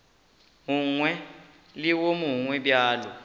mongwe le wo mongwe bjalo